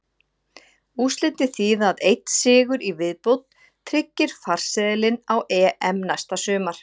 Úrslitin þýða að einn sigur í viðbót tryggir farseðilinn á EM næsta sumar.